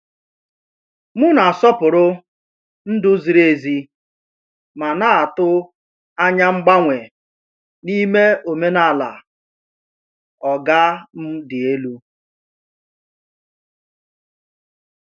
M na-asọpụrụ ndú ziri ezi, ma na-atụ anya mgbanwe n’ime omenala “oga m dị elu.”